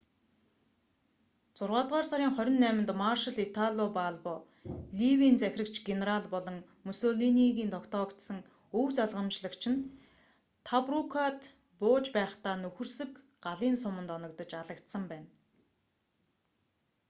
зургаадугаар сарын 28нд маршал итало балбо ливийн захирагч генерал болон мусолинийгийн тогтоогдсон өв залгамжлагч нь тобрукад бууж байхдаа нөхөрсөг галын суманд оногдож алагдсан байна